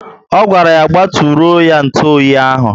O gwara ya gbaturoo ya ntụ oyi ahu